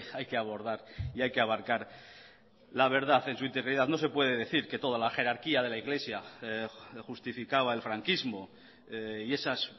hay que abordar y hay que abarcar la verdad en su integridad no se puede decir que toda la jerarquía de la iglesia justificaba el franquismo y esas